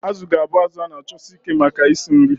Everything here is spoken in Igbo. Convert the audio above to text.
Azu ga-abụ azụ a na-achọsi ike maka isi nri.